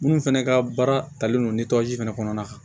Minnu fɛnɛ ka baara talen don fɛnɛ kɔnɔna na